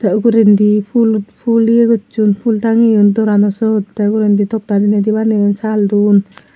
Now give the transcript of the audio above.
tey ugurendi pul pul ye gosson pul tangeyon dorano syot tey ugurendi tokta dineidi baneyon sal dun.